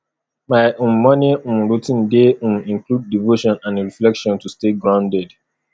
my um morning um routine dey um include devotion and reflection to stay grounded